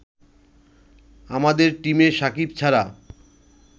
আমাদের টিমে সাকিব ছাড়া